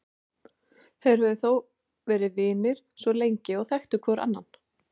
Þeir höfðu þó verið vinir svo lengi og þekktu hvor annan.